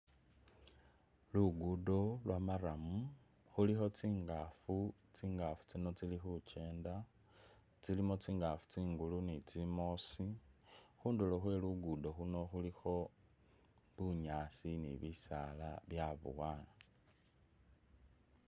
Luguddo lwa'murram khuulikho tsingafu, tsingafu tsino tsili khukenda, tsilimo tsingafu tsimbulu ni tsi'moosi khundulo khwe luguddo luuno khulikho bisaala ni bunyaasi nga byaboyana